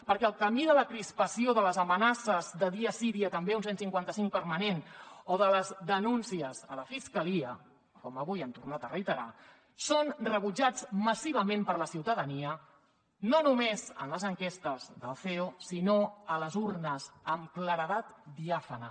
perquè el camí de la crispació de les amenaces de dia sí dia també un cent i cinquanta cinc permanent o de les denúncies a la fiscalia com avui han tornat a reiterar són rebutjats massivament per la ciutadania no només en les enquestes del ceo sinó a les urnes amb claredat diàfana